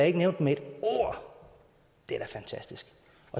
ikke nævnt med ét ord det er da fantastisk